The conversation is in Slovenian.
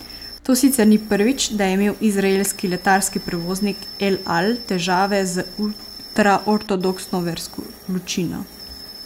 To sicer ni prvič, da je imel izraelski letalski prevoznik El Al težave z ultraortodoksno versko ločino.